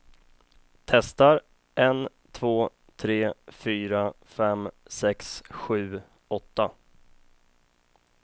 Testar en två tre fyra fem sex sju åtta.